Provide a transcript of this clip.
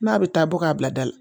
N'a bɛ taa bɔ k'a bila da la